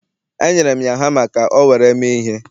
Enyere m ya hama ka o were mee ihe.